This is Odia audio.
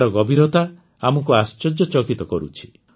ଏହାର ଗଭୀରତା ଆମକୁ ଆଶ୍ଚର୍ଯ୍ୟଚକିତ କରୁଛି